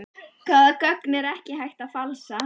Hvaða gögn er ekki hægt að falsa?